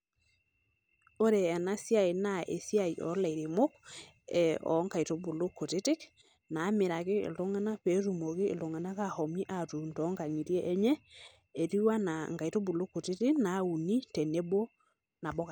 Ore ena siai naa esiai oo ilairemok ee oo nkaitubulu kutitik naamiraki iltung'anak peetumoki iltung'anak aahomi aatun too nkang'itie enye, etiu enaa nkaitubulu kutitik nauni tenebo nabo kata.